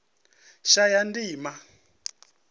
shayandima